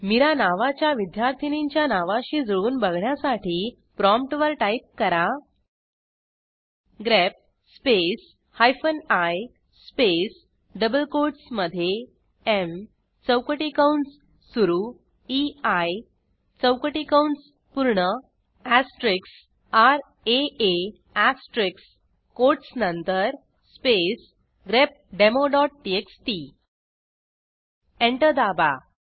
मिरा नावाच्या विद्यार्थीनींच्या नावाशी जुळवून बघण्यासाठी प्रॉम्प्टवर टाईप करा grep space hyphen I space double कोटसमधे एम चौकटी कंस सुरू ईआय चौकटी कंस पूर्ण एस्टेरिस्क र आ आ एस्टेरिस्क कोटस नंतर स्पेस grepdemoटीएक्सटी एंटर दाबा